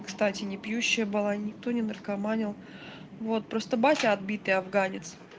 кстати непьющая была никто не наркоманил вот просто батя отбитый афганец